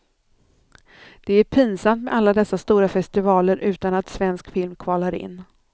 Det är pinsamt med alla dessa stora festivaler utan att svensk film kvalar in.